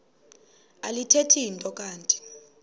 alithethi nto kanti